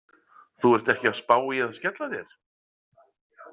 Þú ert ekki að spá í að skella þér?